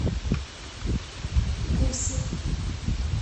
гусев